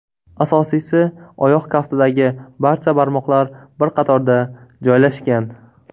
Asosiysi, oyoq kaftidagi barcha barmoqlar bir qatorda joylashgan.